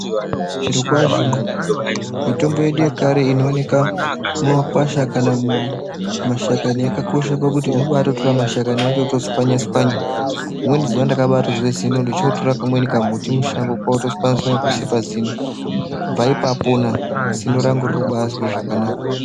Zviro kwazvo mitombo yedu yekare inoonekwa mumakwasha kana mumashakani yakakosha pakuti unobatora mashakani acho wotswanya tswanya rimweni zuwa ndakazowa zino kwakutswanya tswanya pakuisa pazino kubva ipapo zino rangu arina kuzorwadza.